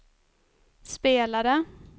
spelade